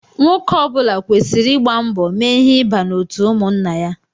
Nwoke ọbula kwesịrị ịgba mbọ mee ihe ịba n'otu ụmụnna ya.